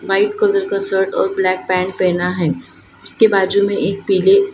White colour का shirt और black pant पहना हैं उसके बाजू में एक पीले।